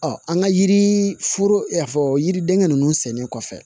Ɔ an ka yiri foro i n'a fɔ yiriden ninnu sɛnnen kɔfɛ